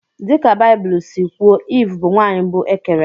Dị ka Baịbụl si kwuo, Eve bụ nwanyị mbụ e kere.